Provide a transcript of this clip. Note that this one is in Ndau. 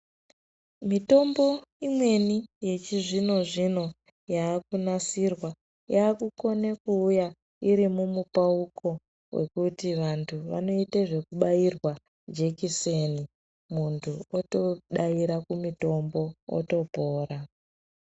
Mitombo imweni yechizvino zvino yakunasirwa yakukone kuuya iri mumupauko wekuti vantu vanoita zvekubairwa jekiseni muntu otodaira kumutombo otopora.